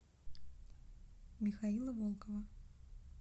михаила волкова